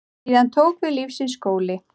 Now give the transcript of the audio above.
Síðan tók við lífsins skóli.